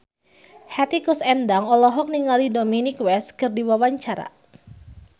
Hetty Koes Endang olohok ningali Dominic West keur diwawancara